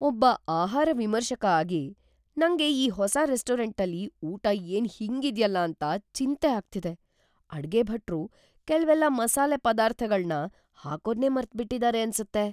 ಒಬ್ಬ ಆಹಾರ ವಿಮರ್ಶಕ ಆಗಿ, ನಂಗೆ ಈ ಹೊಸ ರೆಸ್ಟೋರೆಂಟಲ್ಲಿ ಊಟ ಏನ್ ಹೀಗಿದ್ಯಲ್ಲ ಅಂತ ಚಿಂತೆ ಆಗ್ತಿದೆ. ಅಡ್ಗೆ ಭಟ್ರು ಕೆಲ್ವೆಲ್ಲ ಮಸಾಲೆ ಪದಾರ್ಥಗಳ್ನ ಹಾಕೋದ್ನೇ ಮರ್ತ್‌ಬಿಟಿದಾರೆ ಅನ್ಸತ್ತೆ.